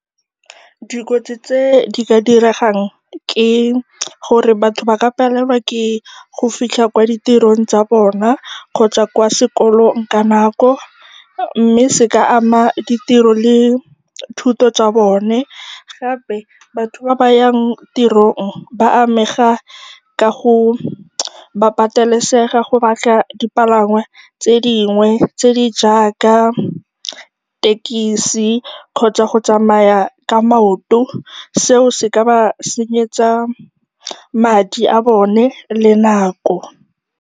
Dikotsi tse di ka diregang ke gore batho ba ka palelwa ke go fitlha kwa ditirong tsa bona kgotsa kwa sekolong ka nako mme se ka ama ditiro le thuto tsa bone. Gape batho ba ba yang tirong ba amega ka gore ba patelesega go batla dipalangwa tse dingwe tse di jaaka thekisi kgotsa go tsamaya ka maoto. Seo se ka ba senyetsa madi a bone le nako.